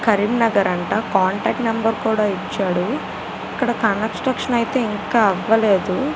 కరీంనర్ అంట contact number కూడా ఇచ్చాడు ఇక్కడ కన్స్ట్రక్షన్ అయితే ఇంకా అవ్వలేదు .